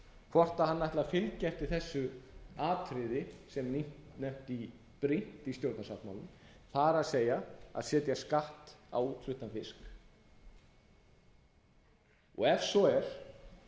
hvort hann ætli að fylgja eftir þessu atriði sem nefnt er brýnt í stjórnarsáttmálanum það er að setja skatt á útfluttan fisk ef svo er